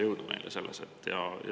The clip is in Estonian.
Jõudu neile selles!